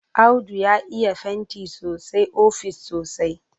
Audu ya iya fanti sosai ofis sosai.